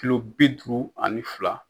Kilo bi duuru ani fila.